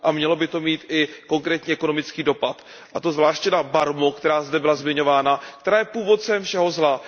Mělo by to mít i konkrétní ekonomický dopad, a to zvláště na Barmu, která zde byla zmiňována, která je původcem všeho zla.